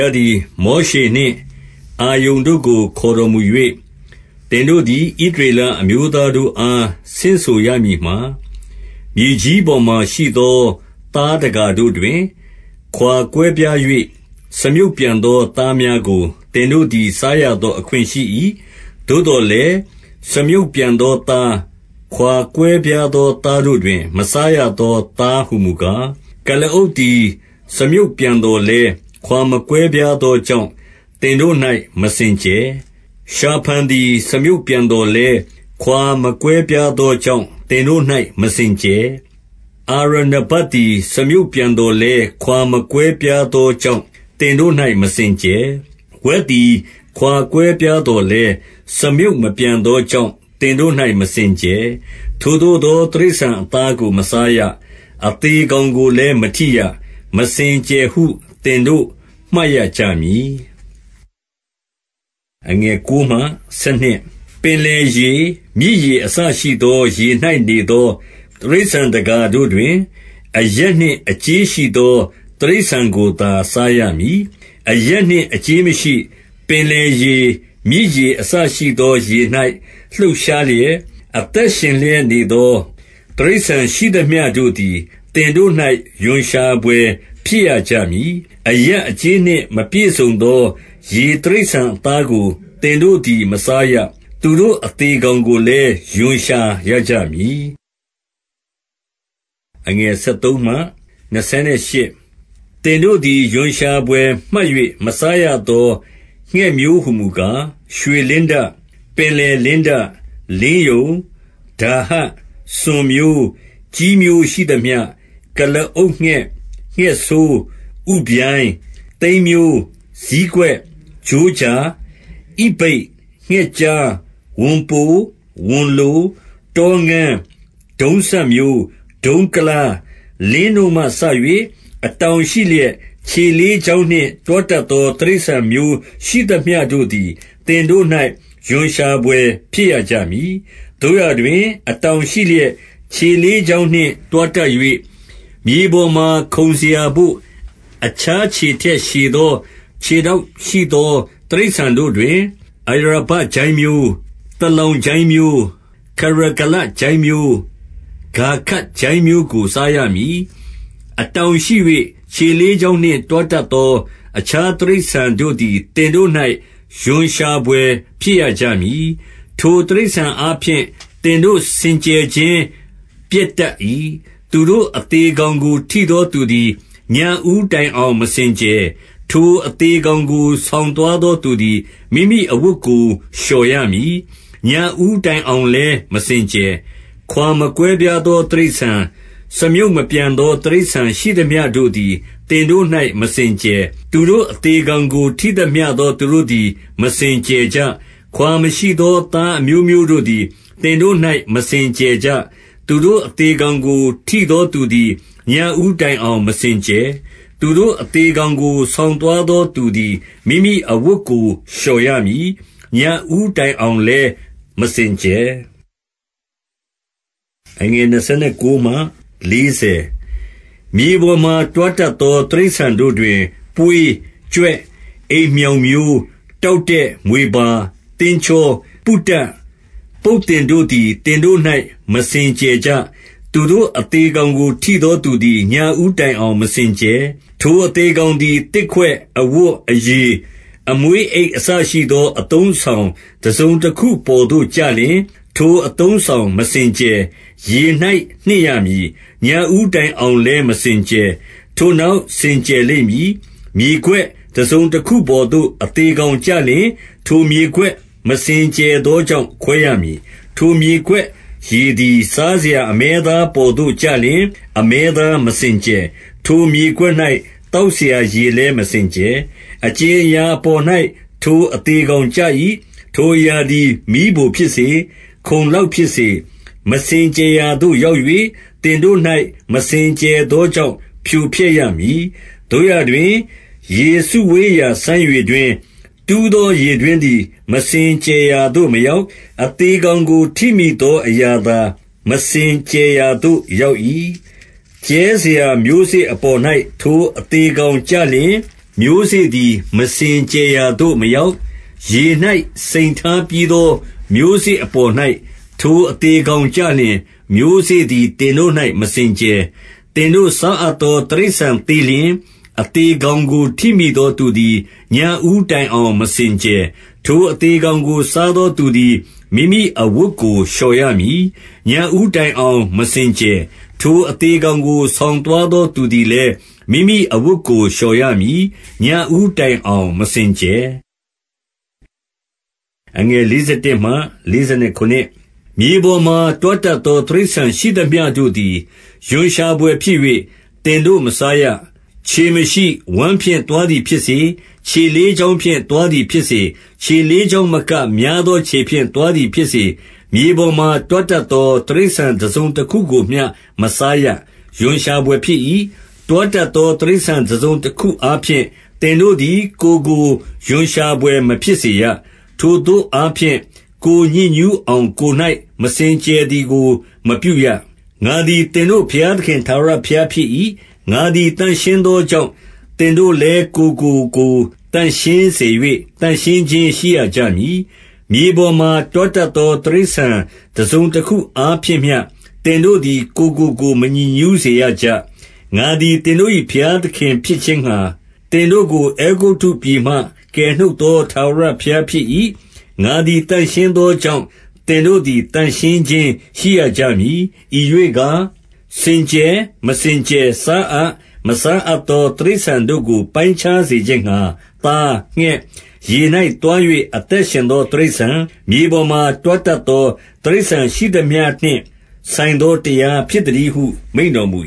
ားသည် မောရှေနှင့် အာရုန်တို့ကို ခေါ်တော်မူ၍၊- 2 သင်တို့သည် ဣသရေလ အမျိုးသားတို့အား ဆင့်ဆိုရမည်မှာ၊ မြေကြီးပေါ်မှာရှိသော သားတကာ တို့တွင်၊ - 3 ခွါကွဲပြား၍ စားမြုံ့ပြန်သော သားများကို သင်တို့သည် စားရသော အခွင့်ရှိ၏။ 4 သို့သော်လည်း၊ စားမြုံ့ပြန်သောသား၊ ခွါကွဲပြားသော သားတို့တွင် မစားရသော သားဟူမူကား၊ ကုလားအုပ်သည် စားမြုံ့ပြန်သော်လည်း ခွါမကွဲပြားသောကြောင့် သင်တို့၌ မစင်ကြယ်။ 5 ရှာဖန်သည် စားမြုံ့ပြန်သော်လည်း၊ ခွါမကွဲပြားသောကြောင့် သင်တို့၌ မစင်ကြယ်။ 6 အာရနဘက်သည် စားမြုံ့ပြန်သော်လည်း ခွါမကွဲပြားသောကြောင့် သင်တို့၌ မစင်ကြယ်။ 7 ဝက်သည် ခွါကွဲပြားသော်လည်း၊ စားမြုံ့မပြန်သောကြောင့် သင်တို့၌ မစင်ကြယ်။ 8 ထိုသို့သော တိရစ္ဆာန်အသားကို မစားရ။ အသေကောင်ကိုလည်း မထိရ။ မစင်ကြယ်ဟု သင်တို့ မှတ်ရကြမည်။ 9 ပင်လယ်ရေ၊ မြစ်ရေ အစရှိသော ရေ၌နေသော တိရစ္ဆာန်တကာတို့တွင်၊ အယပ်နှင့် အကြေးရှိ သော တိရစ္ဆာန်ကိုသာ စားရမည်။ 10 အယပ်နှင့် အကြေးမရှိ၊ ပင်လယ်ရေ၊ မြစ်ရေအစရှိသော ရေ၌ လှုပ်ရှားလျက် အသက်ရှင်လျက် နေသော တိရစ္ဆာန်ရှိသမျှတို့သည် သင်တို့၌ ရွံရှာဘွယ် ဖြစ်ရကြမည်။ 11 အယပ်အကြေးနှင့် မပြည့်စုံသော ရေတိရစ္ဆာန်အသားကို သင်တို့သည် မစားရ။ 12 သူတို့ အသေကောင်ကိုလည်း ရွံ့ရှာရကြမည်။ 13 သင်တို့သည် ရွံ့ရှာဘွယ်မှတ်၍ မစားရသော ငှက်မျိုးဟူမူကား၊ ရွှေလင်းတ၊ ပင်လယ်လင်းတ၊ လင်းယုန်၊- 14 ဒါဟ၊ စွန်မျိုး၊ 15 ကျီးမျိုးရှိသမျှ 16 ကုလားအုပ်ငှက်၊ ငှက်ဆိုး၊ ဥဗျိုင်း၊ 17 သိမ်းမျိုး၊ ဇီးကွက်၊ 18 ကြိုးကြာ၊ ဣဗိတ်၊ ငှက် 19 ကျား၊ ဝံပို၊ ဝံလို၊-တောငန်း၊ ဒုံးစပ်မျိုး၊ ဒုံးကုလား၊ လင်းနို့မှစ၍၊- 20 အတောင်ရှိလျက် ခြေလေးချောင်းနှင့် တွားတတ်သော တိရစ္ဆာန်မျိုးရှိသမျှတို့သည် သင်တို့၌ ရွံရှာ ဘွယ်ဖြစ်ရကြမည်။ 21 သို့ရာတွင် အတောင်ရှိလျက် ခြေလေးချောင်းနှင့် တွားတတ်၍၊ မြေပေါ်မှာ ခုန်စရာဘို့ အခြားခြေ ထက်ရှည်သော ခြေထောက်ရှိသော တိရစ္ဆာန်တို့တွင်၊- 22 အာရာဘကျိုင်းမျိုး၊ သလောင်ကျိုင်းမျိုး၊ ခရဂလကျိုင်းမျိုး၊ ခါဂပ်ကျိုင်းမျိုးကို စားရမည်။ 23 အတောင်ရှိ၍ ခြေလေးချောင်းနှင့် တွားတတ်သော အခြားတိရစ္ဆာန်တို့သည် သင်တို့၌ ရွံရှာဘွယ် ဖြစ်ရကြမည်။ 24 ထိုတိရစ္ဆာန်အားဖြင့် သင်တို့ စင်ကြယ်ခြင်း ပျက်တတ်၏။ သူတို့အသေကောင်ကို ထိသောသူသည်၊ ညဦးတိုင်အောင် မစင်ကြယ်။ 25 ထိုအသေကောင်ကို ဆောင်သွားသောသူသည် မိမိအဝတ်ကိုလျှော်ရမည်။ ညဦးတိုင်အောင်လည်း မစင်ကြယ်။ 26 ခွါမကွဲပြားသော တိရစ္ဆာန်၊ စားမြုံ့မပြန်သော တိရစ္ဆာန်ရှိသမျှတို့သည် သင်တို့၌ မစင်ကြယ်။ သူတို့ အသေကောင်ကို ထိသမျှသော သူတို့သည် မစင်ကြယ်ကြ။ 27 ခွါမရှိသောသားအမျိုးမျိုးတို့သည် သင်တို့၌ မစင်ကြယ်ကြ။ သူတို့အသေကောင်ကို ထိသော သူသည် ညဦးတိုင်အောင် မစင်ကြယ်။ 28 သူတို့ အသေကောင်ကို ဆောင်သွားသောသူသည် မိမိအဝတ်ကို လျော်ရမည်။ ညဦးတိုင်အောင်လည်း မစင်ကြယ်။ 29 မြေပေါ်မှာ တွားတတ်သော တိရစ္ဆာန်တို့တွင် ပွေး၊ ကြွက်၊ အိမ်မျှောင်မျိုး၊- 30 တောက်တဲ့၊ မြွေပါ၊ သင်းချော၊ ပုတတ်၊ ပုတ်သင်တို့သည် သင်တို့၌ မစင်ကြယ်ကြ။ 31 သူတို့အသေကောင်ကို ထိသောသူသည် ညဦးတိုင်အောင် မစင်ကြယ်။ 32 ထိုအသေကောင်သည် သစ်ခွက်၊ အဝတ်၊ အရေ၊ အမွှေး၊ အိတ်အစရှိသော အသုံးအဆောင် တစုံ တခုပေါ်သို့ကျလျှင် ထိုအသုံးအဆောင် မစင်ကြယ်။ ရေ၌နှစ်ရမည်။ ညဦးတိုင်အောင်လည်း မစင်ကြယ်။ ထိုနောက် စင်ကြယ်လိမ့်မည်။ 33 မြေခွက်တစုံတခုပေါ်သို့ အသေကောင်ကျလျှင် ထိုမြေခွက် မစင်ကြယ်သောကြောင့် ခွဲရမည်။ 34 ထိုမြေခွက်ရေသည်၊ စားစရာ အမဲသားပေါ်သို့ ကျလျှင်၊ အမဲသားမစင်ကြယ်။ ထိုမြေခွက်၌ သောက်စရာရေလည်း မစင်ကြယ်။ 35 အကြင်အရာအပေါ်၌ ထိုအသေကောင်ကျ၏။ ထိုအရာသည် မီးဖိုဖြစ်စေ၊ ခုံလောက်ဖြစ်စေ၊ မစင် ကြယ်ရာသို့ ရောက်၍ သင်တို့၌ မစင်ကြယ်သောကြောင့် ဖြိုဖျက်ရမည်။ 36 သို့ရာတွင် ရေစုဝေးရာ စမ်းရေတွင်း၊ တူးသော ရေတွင်းသည် မစင်ကြယ်ရာသို့ မရောက်။ အသေ ကောင်ကို ထိမိသော အရာသာ မစင်ကြယ်ရာသို့ရောက်၏။ 37 ကြဲစရာ မျိုးစေ့အပေါ်၌ ထိုအသေကောင်ကျလျှင်၊ မျိုးစေ့သည် မစင်ကြယ်ရာသို့မရောက်။ 38 ရေ၌စိမ်ထားပြီးသော မျိုးစေ့အပေါ်၌ ထိုအသေကောင်ကျလျှင်၊ မျိုးစေ့သည် သင်တို့၌ မစင်ကြယ်။ 39 သင်တို့စားအပ်သော တိရစ္ဆာန်သေလျှင်၊ အသေကောင်ကို ထိမိသောသူသည် ညဦးတိုင်အောင် မစင်ကြယ်။ 40 ထိုအသေကောင်ကို စားသောသူသည်၊ မိမိအဝတ်ကို လျှော်ရမည်။ ညဦးတိုင်အောင် မစင်ကြယ်။ ထိုအသေကောင်ကို ဆောင်သွားသောသူသည်လည် မိမိအဝတ်ကို လျှော်ရမည်။ ညဦးတိုင်အောင် မစင်ကြယ်။ 41 မြေပေါ်မှာ တွားတတ်သော တိရစ္ဆာန်ရှိသမျှတို့သည် ရွံရှာဘွယ်ဖြစ်၍ သင်တို့မစားရ။ 42 ခြေမရှိ၊ ဝမ်းဖြင့် သွားသည်ဖြစ်စေ၊ ခြေလေးချောင်းဖြင့် သွားသည်ဖြစ်စေ၊ ခြေလေးချောင်းမက များသော ခြေဖြင့်သွားသည်ဖြစ်စေ၊ မြေပေါ်တွားတတ်သော တိရစ္ဆာန် တစုံတခုကိုမျှ မစားရ။ ရွံရှာဘွယ် ဖြစ်၏။ 43 တွားတတ်သော တိရစ္ဆာန် တစုံတခုအားဖြင့် သင်တို့သည် ကိုယ်ကို ရွံ့ရှာဘွယ် မဖြစ်စေရ။ ထိုသို့ အားဖြင့် ကိုယ်ညစ်ညူးအောင် ကိုယ်၌မစင်ကြယ်သည်ကို မပြုရ။ 44 ငါသည် သင်တို့ ဘုရားသခင် ထာဝရဘုရားဖြစ်၏။ ငါသည် သန့်ရှင်းသောကြောင့်၊ သင်တို့သည်လည်း ကိုယ့်ကိုကိုယ် သန့်ရှင်းစေ၍ သန့်ရှင်းခြင်းရှိရကြမည်။ မြေပေါ်မှာ တွားတတ်သော တိရစ္ဆာန် တစုံ တခုအားဖြင့်မျှ သင်တို့သည် ကိုယ်ကိုကိုယ် မညစ်ညူးစေရကြ။ 45 ငါသည် သင်တို့၏ ဘုရားသခင်ဖြစ်ခြင်းငှါ၊ သင်တို့ကို အဲဂုတ္တုပြည်မှ ကယ်နုတ်သော ထာဝရဘုရား ဖြစ်၏။ ငါသည် သန့်ရှင်းသောကြောင့်၊ 46 သင်တို့သည် သန့်ရှင်းခြင်း ရှိရကြမည်။ 47 ဤရွေ့ကားစင်ကြယ်၊ မစင်ကြယ်၊ စားအပ်၊ မစားအပ်သော တိရစ္ဆာန်တို့ကို ပိုင်းခြားစေခြင်းငှါ၊ သား၊ ငှက်၊ ရေ၌သွား၍ အသက်ရှင်သော တိရစ္ဆာန်၊ မြေပေါ်မှာ တွားတတ်သော တိရစ္ဆာန်ရှိသမျှ နှင့် ဆိုင်သောတရားဟု မိန့်တော်မူ